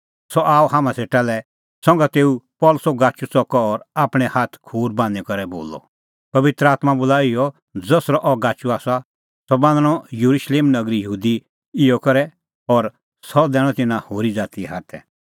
सह आअ हाम्हां सेटा लै संघा तेऊ पल़सीओ गाचू च़कअ और आपणैं हाथ खूर बान्हीं करै बोलअ पबित्र आत्मां बोला इहअ ज़सरअ अह गाचू आसा सह बान्हणअ येरुशलेम नगरी यहूदी इहअ ई करै और सह दैणअ तिन्नां होरी ज़ातीए हाथै